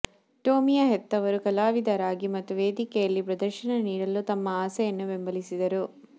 ಟೊಮಿಯ ಹೆತ್ತವರು ಕಲಾವಿದರಾಗಿ ಮತ್ತು ವೇದಿಕೆಯಲ್ಲಿ ಪ್ರದರ್ಶನ ನೀಡಲು ತಮ್ಮ ಆಸೆಯನ್ನು ಬೆಂಬಲಿಸಿದರು